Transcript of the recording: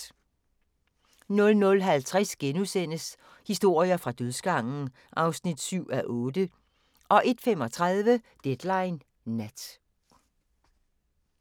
00:50: Historier fra dødsgangen (7:8)* 01:35: Deadline Nat